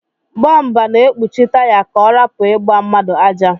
Bomba na ekpuchi taya ka ọrapu igba mmadu aja.